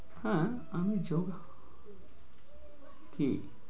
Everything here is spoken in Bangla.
হ্যাঁ আমি জোর কি?